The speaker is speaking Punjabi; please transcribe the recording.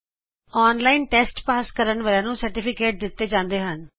ਜਿਹੜੇ ਅਨਲਾਇਨ ਟੈਸਟ ਪਾਸ ਕਰਦੇ ਹਨ ਉਹਨਾ ਨੂੰ ਪ੍ਰਮਾਣ ਪਤਰ ਵੀ ਦਿੰਤੇ ਜਾਂਦੇ ਹਨ